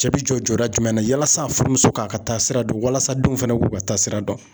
Cɛ bi jɔ jɔda jumɛn na yalasa a furumuso k'a ka taa sira dɔn, walasa denw fɛnɛ k'u ka taa sira dɔn.